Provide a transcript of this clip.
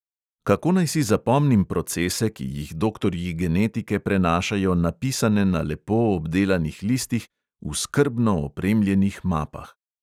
Kako naj si zapomnim procese, ki jih doktorji genetike prenašajo napisane na lepo obdelanih listih, v skrbno opremljenih mapah ...